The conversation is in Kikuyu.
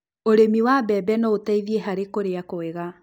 ũrĩmi wa mbembe no ũteithie hari kũria kwega